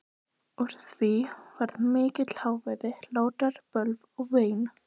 Úr því varð mikill hávaði, hlátrar, bölv og vein.